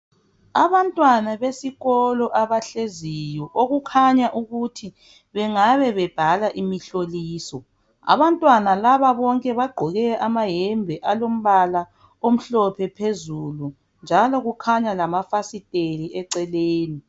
Abantwana besikolo abahleziyo okukhanya ukuthi bengabe bebhala imihloliso. Abantwana laba bonke bagqoke amayembe alombala omhlophe phezulu njalo kukhanya lamafasiteli eceleni.